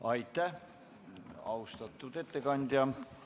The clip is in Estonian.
Aitäh, austatud ettekandja!